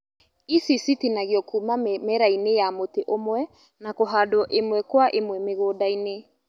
Ici citinagio Kuma mĩmera-inĩ ya mũtĩ ũmwe na kũhandwo ĩmwe Kwa ĩmwe mĩgũnda-inĩ